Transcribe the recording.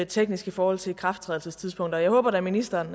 teknisk i forhold til ikrafttrædelsestidspunktet jeg håber da at ministeren